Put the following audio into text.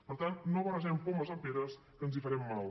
per tant no barregem pomes amb peres que ens hi farem mal